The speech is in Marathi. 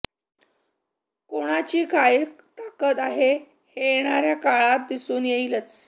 कोणाची काय ताकत आहे हे येणाऱ्या काळात दिसून येईलच